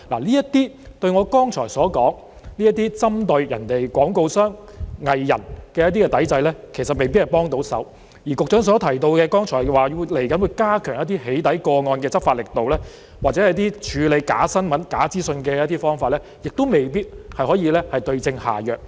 這些對我剛才所說針對相關廣告商和藝人的抵制，其實未必有幫助，而局長剛才提到接下來會加強對"起底"個案的執法力度，或處理假新聞、假資訊的方法，亦未必可以對症下藥。